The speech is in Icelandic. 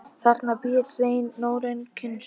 Þarna býr hreinn norrænn kynstofn.